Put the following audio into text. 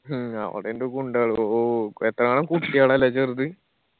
ഹ്മ് അവടെ ഇണ്ട് ഗുണ്ടകള് ഓ എത്ര ആണ് കുട്ടികള് അല്ലെ ചെറുത്